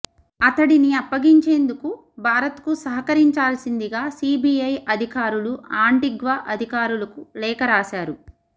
అతడిని అప్పగించేందుకు భారత్కు సహకరించాల్సిందిగా సీబీఐ అధికారులు ఆంటిగ్వా అధికారులకు లేఖ రాశారు